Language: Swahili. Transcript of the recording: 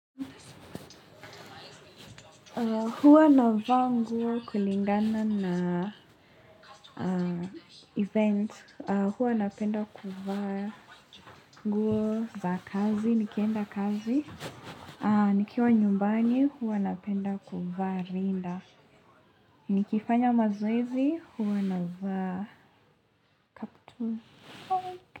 Huwa na vaa nguo kulingana na event. Huwa napenda kuva nguo za kazi. Nikienda kazi. Nikiwa nyumbani huwa na penda kuvaa rinda. Nikifanya mazoezi huwa navaa kaptu.